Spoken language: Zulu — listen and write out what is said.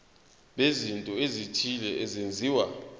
bezinto ezithile ezenziwa